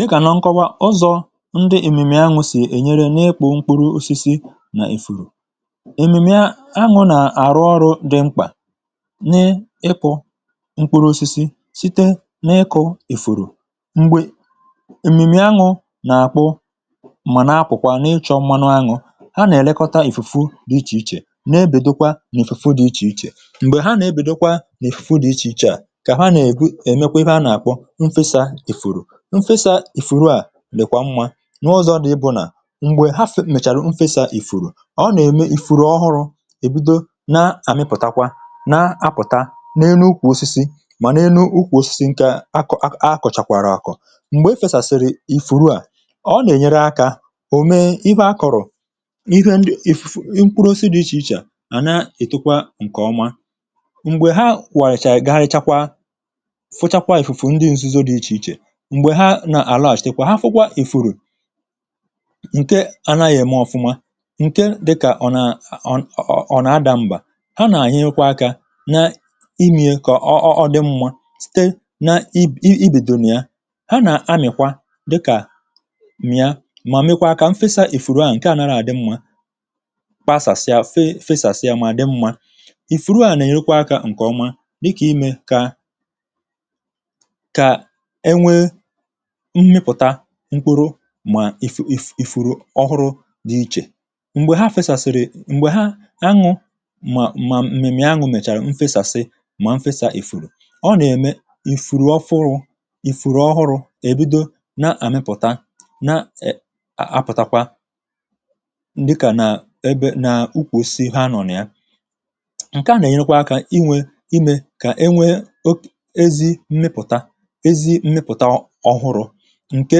Dịkà nà nkọwa ụzọ̇ ndị èmìmì anwụ̇ sì ènyere n’ịkpụ̇ mkpuru osisi nà ị̀fụ̀rụ̀. Emìmì a añụ̀ nà-àrụ ọrụ̇ dị mkpà n’ịkpụ̇ mkpuru osisi site n’ịkụ̇ èfùrù. M̀gbè èmìmì anwụ̇ nà-àkpụ, mà nà-akwụ̀kwà, na-ịchọ̇ mmanụ anwụ̇, ha nà-èlekọta ìfùfù dị iche iche, nà-èbèdokwa nà-èfùfù dị iche iche. M̀gbè ha nà-èbèdokwa nà-èfùfu dị iche iche à, kà ha nà-ègwu: emekwa ihe a nà-àkpo mfẹsa ifuru. M fesa ìfùru à, lèkwa mmȧ, n'ụzọ̇ dị ịbụ̇ nà m̀gbè hafụ̀ mèchàrà mfẹsa ìfùru, ọ nà-ème ìfùru ọhụrụ̇ ebido na-àmịpụ̀takwa na-apụ̀ta n’elu kwụ̀ osisi, mà n’elu ukwu̇ osisi nke akọ̀, akọ̀ chakwara akọ̇. M̀gbè e fèsàsị̀rị̀ ìfùru à, ọ nà-ènyere akȧ, ò mee ịhẹ akọ̀rọ̀ ihe ndị mkpụrụ osisi dị iche iche à, na-ètukwa ǹkè ọma. M̀gbè ha kwàchàrà, ga-richakwa, fụchakwa ìfùfù ndị nzuzo dị iche iche. M̀gbè ha nà-àlachịkwa, ha fụkwa ị̀fụrụ ǹke ànaghị̀ ème ọfụma, ǹke dịkà ọ̀ nà-à, ọ nà-adà m̀gbà. Ha nà-ànyịkwa akȧ na imiė kà ọọ̇ ọ̀ dị mmȧ, site na i i bìdòrò na ya. Ha nà-amị̀kwa, dịkà, mị̀a, mà mekwaa kà m fesa ìfùrù a, ǹke ànaghị̀ àdị mmȧ, kpasàsịa, fee, fesàsịa, mà dị mmȧ. Ìfùrù a nà-enyekwa akȧ ǹkè ọma, dịkà imė kà kà enwe mmịpụ̀ta mkpuru, mà ị̀fùrụ ọhụrụ dị iche. M̀gbè ha fesàsị̀rị̀, m̀gbè ha anwụ̇, mà m̀mèmè anwụ̇ mèchàrà m̀fesàsị̀, ma m fesa ị̀fùrù. Ọ nà-ème ị̀fùrù ọfụrụ, ị̀fùrù ọhụrụ̇, ebido na-àmịpụ̀ta, na-apụtakwa ndị kà nà ebe nà ukwù si ha nọ̀o na ya. Nke à nà-ènyekwa kà inwė imė, kà e nwee ezi mmịpụ̀ta, ezi mmịpụ̀ta ọhụrụ ǹke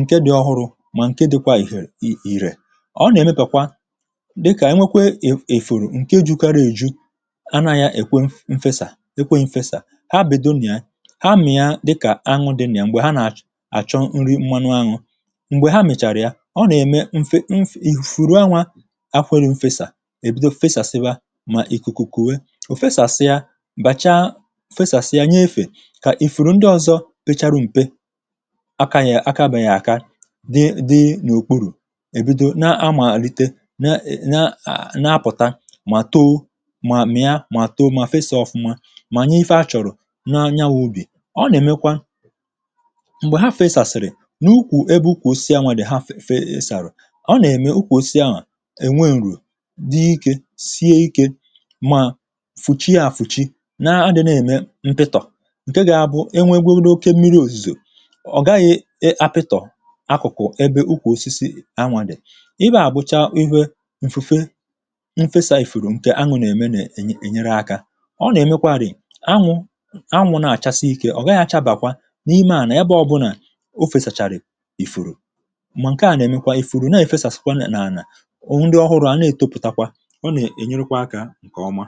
ǹke dị̇ ọhụrụ̇, mà ǹke dịkwa ìhè ìrè. Ọ nà-èmepàkwa dịkà enwekwe ìfùrù ǹke jukara èju, anȧghị̀ èkwe mfesà ekweghi mfesà. Ha bìdo nà ya, ha mìa dịkà anwụ̇ dị na ya, m̀gbè ha nà-achọ nri mmanụ añụ̇. M̀gbè ha mị̀chàrà ya, ọ nà-ème mfe nif... ìfùfùrù anwȧ, akwere mfesà, ìbido fesàsịwa, mà ìkùkùkùwe ìfùfesàsịa, bàchà fesàsịa, nye efè, kà ìfùrù ndị ọzọ pecharu m̀pe akabeghi aka, dị dị n’òkpuru̇. Èbido na-amàlite, na na-apụ̀ta, mà too, mà mịa, mà too, mà fesa ọ̀fụma, mà nye ife achọ̀rọ̀ na anya n’ubì. Ọ nà-èmekwa m̀gbè ha fesàsị̀rị̀ n’ukwù ebe ukwù osisi anwàdị̀ ha fesàsị̀rị̀, ọ nà-ème ukwù osisi ahụ̀ ènweǹrù dị ikė, sie ikė, mà fùchie à fùchie, na-adị̇na ème mpịtọ̀, ǹke ga-bụ enwegodi oke mmiri òzìzò, ọ gaghị a pito Akụkụ̀ ẹbẹ ukwà osisi anwụ̀ dị̀. Ifẹ à gbụcha ihẹ mfufe, M fesa ị̀fùrù ǹkẹ anwụ̀ nà ẹmẹ nà ẹ̀nyẹrẹ akȧ. O nà-èmẹkwa rị̀, anwụ̇ anwụ̇ nà-àchasị ike, ọ̀ gàghị achabàkwa n’ime ànà ebẹ obụnà o fèsàchàrị̀ ị̀fùrù. Mà ǹkẹ ahụ̀ nà-èmẹkwa ị̀fùrù, nà ẹ̀fẹsàsikwa nà-ànà, ndị ọhụrụ̇ àna ètopùtakwa. O nà-ènyẹrẹkwa akȧ ǹkẹ̀ ọma.